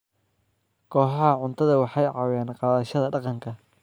Kooxaha cuntadu waxay caawiyaan qaadashada dhaqanka.